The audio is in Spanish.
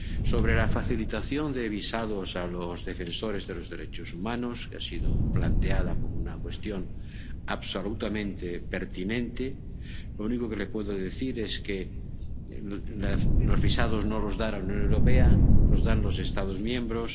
Sobre la facilitación de visados a los defensores de los derechos humanos, que ha sido planteada como una cuestión absolutamente pertinente, lo único que le puedo decir es que los visados no los da la Unión Europea, los dan los Estados miembros